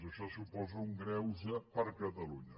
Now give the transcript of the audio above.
això suposa un greuge per a catalunya